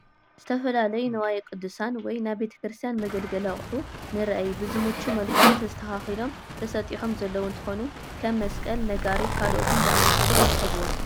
ዝተፈላለዩ ንዋየ ቅዱሳን (ናይ ቤተክርስትያን መገልገሊ አቁሑ) ንረአይ ብዝምቹ መልክዑ ተስተካኪሎም ተሰጢሖም ዘለዉ እንትኮኑ ከመ መስቀል፣ ነጋሪት ካልኦትን ዝአምሰሉ የርከቡዎም፡፡